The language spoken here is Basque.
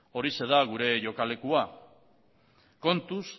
horixe da gure jokalekua kontuz